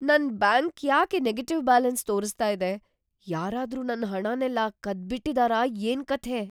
ನನ್ ಬ್ಯಾಂಕ್ ಯಾಕೆ negative balance ತೋರಿಸ್ತಾ ಇದೆ? ಯಾರಾದ್ರೂ ನನ್ನ ಹಣನೆಲ್ಲ ಕದ್ಬಿಟಿದಾರಾ ಏನ್ಕಥೆ?